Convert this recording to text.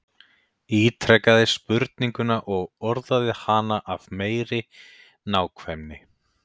Ítrekaði spurninguna og orðaði hana af meiri nákvæmni.